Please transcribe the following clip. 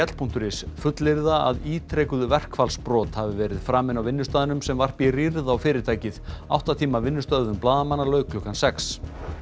punktur is fullyrða að ítrekuð verkfallsbrot hafi verið framin á vinnustaðnum sem varpi rýrð á fyrirtækið átta tíma vinnustöðvun blaðamanna lauk klukkan sex